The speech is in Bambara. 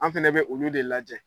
An fɛnɛ bɛ olu de lajɛ.